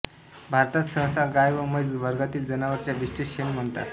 भारतात सहसा गाय व म्हैस वर्गातील जनावरांच्या विष्ठेस शेण म्हणतात